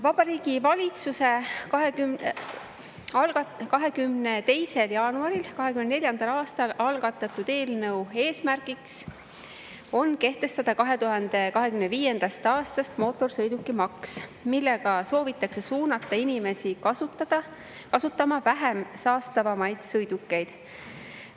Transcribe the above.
Vabariigi Valitsuse 22. jaanuaril 2024. aastal algatatud eelnõu eesmärk on kehtestada 2025. aastast mootorsõidukimaks, millega soovitakse suunata inimesi kasutama vähem saastavaid sõidukeid.